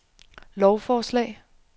lovforslag